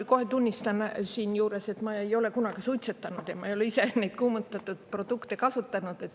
Ma kohe tunnistan siinjuures, et ma ei ole kunagi suitsetanud ja ma ei ole ise neid kuumutatud produkte kasutanud.